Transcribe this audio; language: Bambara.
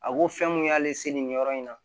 A ko fɛn mun y'ale se nin yɔrɔ in na